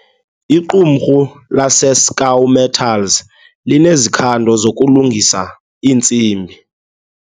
Iqumrhu laseScaw Metals linezikhando zokulungisa iintsimbi.